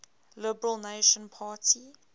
liberal national party